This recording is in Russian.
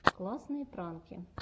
классные пранки